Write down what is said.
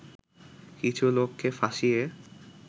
কিছু লোককে ফাঁসিয়ে